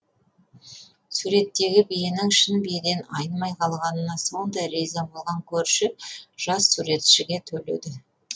суреттегі биенің шын биеден айнымай қалғанына сондай риза болған көрші жас суретшіге төледі